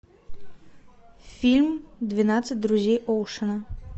фильм двенадцать друзей оушена